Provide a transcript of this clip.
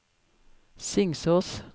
Singsås